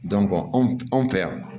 anw fɛ yan